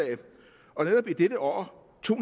og i dette år to